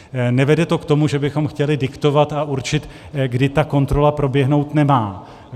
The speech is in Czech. Nevede to k tomu, že bychom chtěli diktovat a určit, kdy ta kontrola proběhnout nemá.